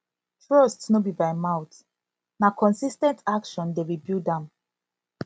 trust no bi by mouth na consis ten t action dey rebuild am